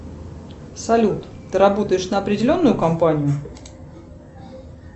салют ты работаешь на определенную компанию